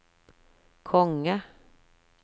konge